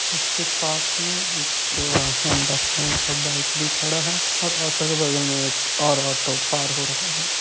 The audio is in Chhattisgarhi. इसके पास मे एक अ हौंडा साइन और बाइक भी खड़ा है और ऑटो के बगल में एक और ऑटो पार हो रहा हैं ।